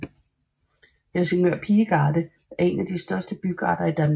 Helsingør Pigegarde er en af de største bygarder i Danmark